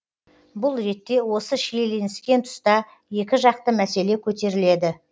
бұл ретте осы шиелініскен тұста екі жақты мәселе көтеріледі